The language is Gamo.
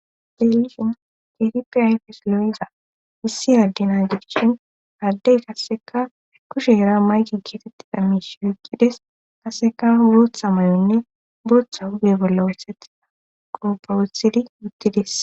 deelishin ketipe ayfes lo7iza issi addina gigishin aaddey kasseka ekushe era maygi keetettida miish oqqides kasseka booththa may7onne booththa huge bolla wosethia qoppa wothidi utties